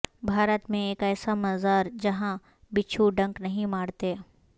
بھارت میں ایک ایسا مزار جہاں بچھو ڈنک نہیں مارتے